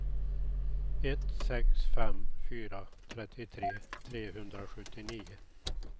ett sex fem fyra trettiotre trehundrasjuttionio